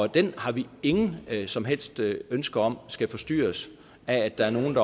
den har vi ingen som helst ønske om skal forstyrres af at der er nogle